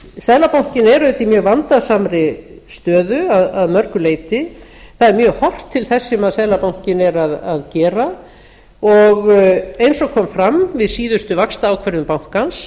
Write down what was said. auðvitað í mjög vandasamri stöðu að mörgu leyti það er mjög horft til þess sem seðlabankinn er að gera og eins og kom fram við síðustu vaxtaákvörðun bankans